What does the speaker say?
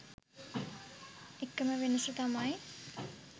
එකම වෙනස තමයි